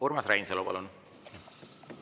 Urmas Reinsalu, palun!